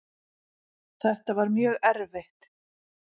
Þetta var mjög erfitt